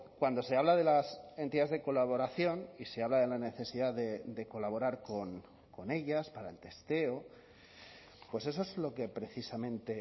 cuando se habla de las entidades de colaboración y se habla de la necesidad de colaborar con ellas para el testeo pues eso es lo que precisamente